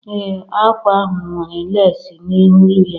Ee, ákwà ahụ nwere lesi n'elu ya